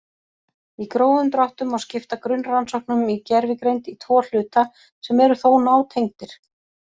Í grófum dráttum má skipta grunnrannsóknum í gervigreind í tvo hluta sem eru þó nátengdir.